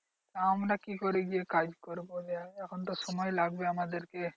আমরা কি করে গিয়ে কাজ করবো? এখন তো সময় লাগবে আমাদেরকে।